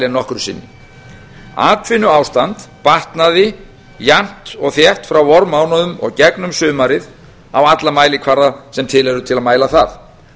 nokkru sinni atvinnuástand batnaði jafnt og þétt frá vormánuðum og gegnum sumarið á alla mælikvarða sem til eru til að mæla það